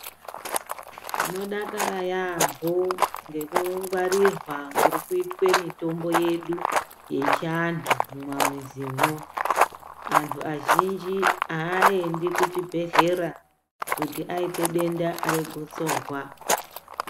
Tinodakara yaampho ngekungwarirwa kuri kuitwe mitombo yedu yechiantu mumamizimwo. Antu azhinji aaendi kuchibhedhlera kuti aite denda regotsorwa.